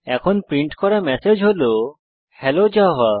এখন প্রিন্ট করা ম্যাসেজ হল হেলো জাভা